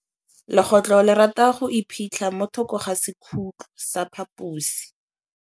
Legôtlô le rata go iphitlha mo thokô ga sekhutlo sa phaposi.